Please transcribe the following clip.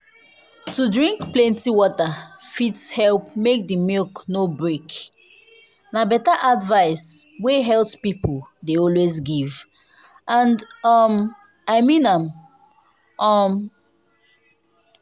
to drink plenty water fit help make the milk no break. na better advice wey health people dey always give… and um i mean am. um